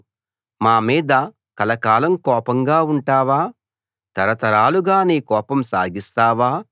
మా మీద కలకాలం కోపంగా ఉంటావా తరతరాలుగా నీ కోపం సాగిస్తావా